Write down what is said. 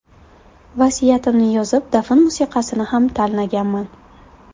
Vasiyatimni yozib, dafn musiqasini ham tanlaganman.